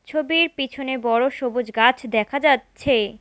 ছবির পিছনে বড় সবুজ গাছ দেখা যাচ্ছে।